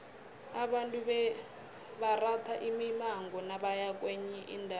abantu bebaratha imimango nabaya kwenye indawo